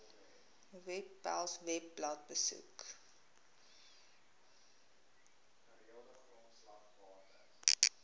webpals webblad besoek